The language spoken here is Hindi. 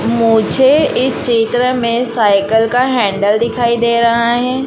मुझे इस चित्र में साइकिल का हैंडल दिखाई दे रहा हैं।